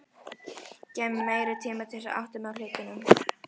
Gefðu mér meiri tíma til að átta mig á hlutunum.